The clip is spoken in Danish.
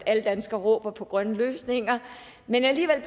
at alle danskere råber på grønne løsninger men alligevel